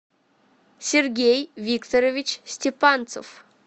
сергей викторович степанцев